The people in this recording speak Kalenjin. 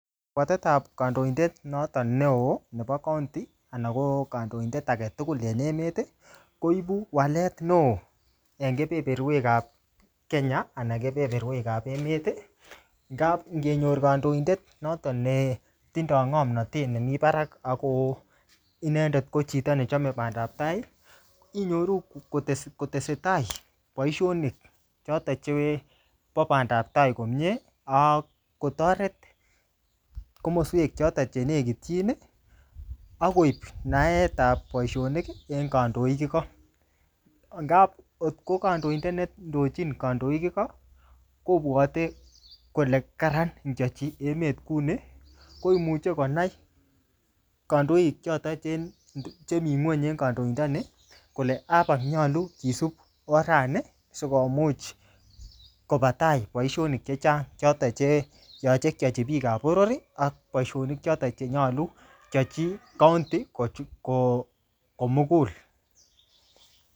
Kabwatetab kandoindet noto neo nebo kaonti ana ko kandoindet agetugul enemet, koibu walet neo en keberberwekab Kenya anan keberberwekab emet ngab ingenyor kandoindet noto netindo ngomnatet nemi barak ago chito ne chome bandab tai inyoru kotesetai boisionik choto chebo bandantai komie ak kotoret komoswek choton che negityin ak koip naetab boisionik en kandoik igo. Angab kotko kandoindet nendochin kandoik igo kobwate kole kararan ingyachi emet kuni koimuche konai kandoik choton che mi ngony en kandoindani kole abak nyalu kisup orani sikomuch koba tai boisionik che chang. Choton che yoche keyochi biikab boror ak boisionik choton che yoche keyochi kaonti komugul.